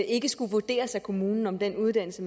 ikke skulle vurderes af kommunen om den uddannelse